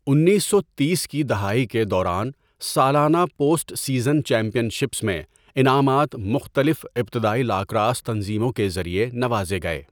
انیس سو تیس کی دہائی کے دوران سالانہ پوسٹ سیزن چیمپئن شپس میں انعامات مختلف ابتدائی لاکراس تنظیموں کے ذریعے نوازے گئے۔